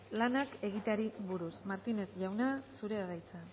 lanak egiteari buruz martínez jauna zurea da hitza